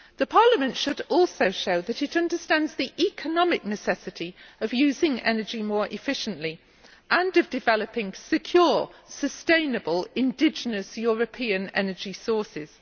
Parliament should also show that it understands the economic necessity of using energy more efficiently and of developing secure, sustainable, indigenous European energy sources.